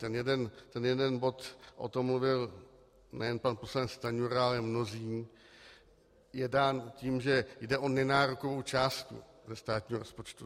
Ten jeden bod, o tom mluvil nejen pan poslanec Stanjura, ale mnozí, je dán tím, že jde o nenárokovou částku ze státního rozpočtu.